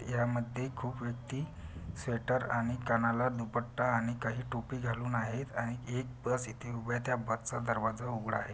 यामध्ये खूप व्यक्ती स्वेटर आणि कानाला दुपट्टा आणि काही टोपी घालून आहेत आणि एक बस इथे उभी आहे त्या बसचा दरवाजा उघडा आहे.